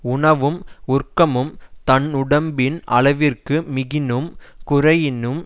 உணவும் உறக்கமும் தன்னுடம்பின் அளவிற்கு மிகினும் குறையினும்